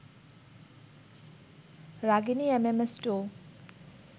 Ragini MMS two